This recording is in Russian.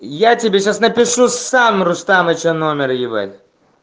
я тебе сейчас напишу сам рустамыча номер ебать